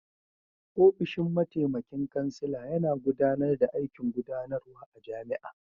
Ofishin mataimakin kansila yana gudanar da aikin gudanarwa a jami'a.